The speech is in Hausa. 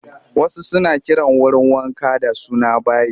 Wasu suna kiran wurin wanka da suna bayi